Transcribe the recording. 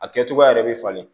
A kɛ cogoya yɛrɛ bɛ falen